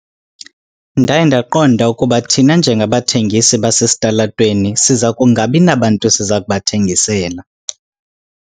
Ndaye ndaqonda ukuba thina njengabathengisi basesitalatweni siza kungabi nabantu siza kubathengisela.